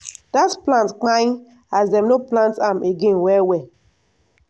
dat plant pai as dem no plant am again well well.